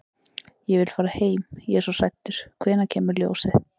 Ég vil fara heim. ég er svo hræddur. hvenær kemur ljósið?